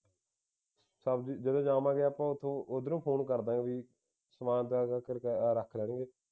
ਸਬਜ਼ੀ ਜਿਵੇਂ ਜਾਵਾਂਗੇ ਆਪਾਂ ਉਥੇ ਉਧਰੋਂ phone ਕਰਦਾਂ ਗਏ ਬਈ ਸਮਾਂਨ ਹੈਹਾਂ ਇਨ੍ਹਾਂ ਕਰਕੇ ਉਹ ਰੱਖ ਲੈਣਗੇ